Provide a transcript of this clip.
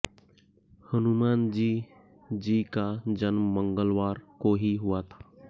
हनुमानजी जी का जन्म मंगलवार को ही हुआ था